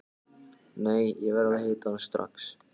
Nei, ég verð að hitta hann strax.